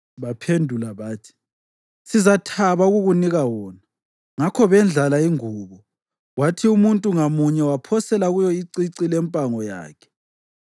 Baphendula bathi, “Sizathaba ukukunika wona.” Ngakho bendlala ingubo, kwathi umuntu ngamunye waphosela kuyo icici lempango yakhe.